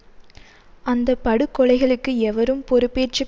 பிரகாசத்துக்குக் காத்திருந்தோம் ஆனாலும் அந்தகாரத்திலே நடக்கிறோம்